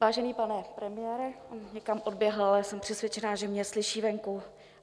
Vážený pane premiére - někam odběhl, ale jsem přesvědčena, že mě slyší venku.